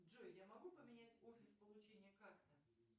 джой я могу поменять офис получения карты